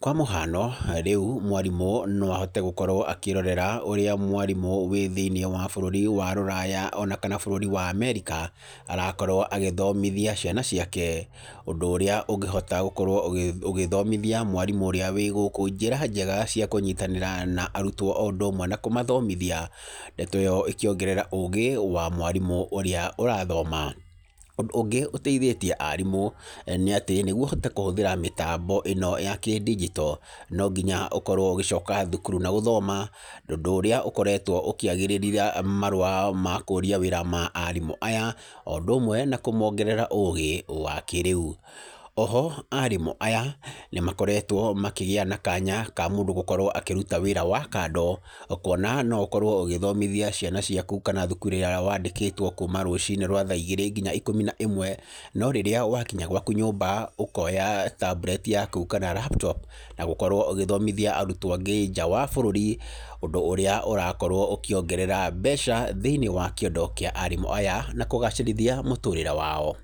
Kwa mũhano, rĩu mwarimũ no ahote gũkorwo akĩrorera ũrĩa mwarimũ wa thĩini wa bũrũri wa rũraya ona kana bũrũri wa America, arakorwo agĩthomithia ciana ciake. Ũndũ ũrĩa ũngĩhota gũkorwo ũgĩthomithia mwarimũ ũrĩa wĩ gũkũ njĩra njega cia kũnyitanĩra na arutwo o ũndũ ũmwe na kũmathomithia. Ndeto ĩyo ĩkĩongerera ũũgĩ wa mwarimũ ũrĩa ũrathoma. Ũndũ ũngĩ ũteithĩtie aarimũ, nĩ atĩ nĩguo ũhote kũhũthĩra mĩtambo ĩno ya kĩndinjito, no nginya ũkorwo ũgĩcoka thukuru na gũthoma ũndũ ũrĩa ũkoretwo ũkĩagĩrithia marũa ma kũũria wĩra ma arimũ aya, o ũndũ ũmwe na kũmongera ũũgĩ wa kĩrĩu. Oho, aarimũ aya, nĩ makoretwo makĩgĩa na kanya ka mũndũ gũkorwo akĩruta wĩra wa kando kuona no ũkorwo ũgĩthomithia ciana ciaku kana thukuru ĩrĩa wandĩkĩtwo kuuma rũcini rwa thaa igĩrĩ nginya ikũmi na ĩmwe, no rĩrĩa wakinya gwaku nyũmba, ũkoya tablet yaku kana laptop, na gũkorwo ũgĩthomithia arutwo angĩ nja wa bũrũri, ũndũ ũrĩa ũrakorwo ũkĩongerera mbeca thĩiniĩ wa kĩondo kĩa aarimũ aya, na kũgacĩrithia mũtũrĩre wao.